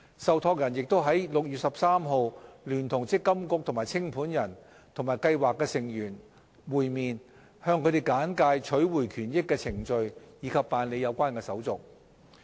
受託人亦已於6月13日聯同積金局及清盤人與計劃成員會面，向他們簡介取回權益的程序及辦理有關手續。